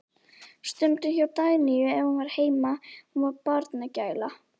Stundum hjá Dagnýju ef hún var heima, hún var barnagæla.